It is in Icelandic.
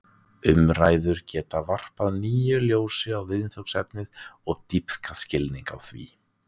Umræður geta varpað nýju ljósi á viðfangsefnið og dýpkað skilning á því.